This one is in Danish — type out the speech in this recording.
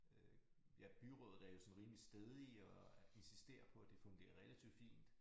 Øh ja byrådet er jo sådan rimelig stædige og insisterer på at det fungerer relativt fint